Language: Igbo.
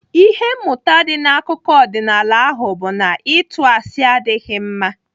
Ihe mmụta dị n'akụkọ ọdịnaala ahụ bụ na ịtụ asị adịghị mma.